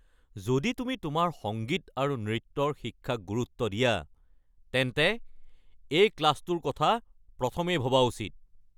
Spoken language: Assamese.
যদি তুমি তোমাৰ সংগীত আৰু নৃত্যৰ শিক্ষাক গুৰুত্ব দিয়া তেন্তে এই ক্লাছটোৰ কথা প্ৰথমেই ভবা উচিত।